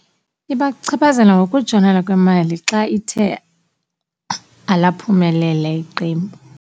Ibachaphazela ngokutshonela kwemali xa ithe alaphumelela iqembu.